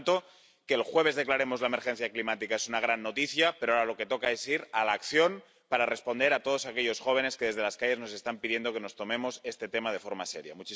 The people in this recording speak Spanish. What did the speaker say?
Por lo tanto, que el jueves declaremos la emergencia climática es una gran noticia, pero ahora lo que toca es ir a la acción para responder a todos aquellos jóvenes que desde las calles nos están pidiendo que nos tomemos este tema de forma seria.